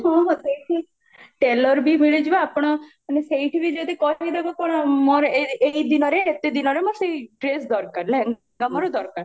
ହଁ ହଁ ସେଇଠି tailor ବି ଆପଣ ମାନେ ସେଇଠି ବି ଯଦି କହିଦେବେ କଣ ମୋର ଏଇ ଦିନରେ ଏତେ ଦିନରେ ମୋର ସେଇ ଡ୍ରେସ ଦରକାର ଲେହେଙ୍ଗା ମୋର ଦରକାର